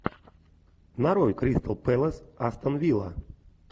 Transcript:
нарой кристал пэлас астон вилла